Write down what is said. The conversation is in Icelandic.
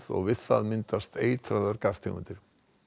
og við það myndast eitraðar gastegundir